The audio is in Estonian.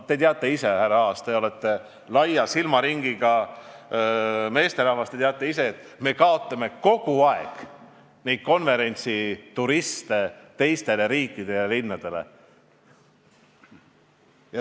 Te teate ise, härra Aas, te olete laia silmaringiga meesterahvas, et me kaotame kogu aeg konverentsituriste teistele riikidele ja linnadele.